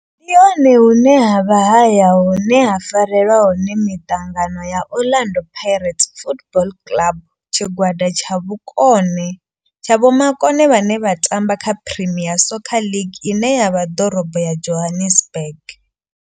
Ndi hone hune havha haya hune ha farelwa hone miṱangano ya Orlando Pirates Football Club. Tshigwada tsha vhomakone vhane vha tamba kha Premier Soccer League ine ya vha ḓorobo ya Johannesburg.